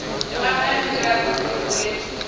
nga ha mirado i re